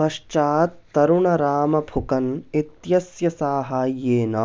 पश्चात् तरुणराम फुकन् इत्यस्य साहाय्येन